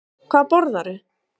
Ívar Máni Garðarsson Hvað borðarðu?